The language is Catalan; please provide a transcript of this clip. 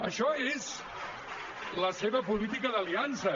això és la seva política d’aliances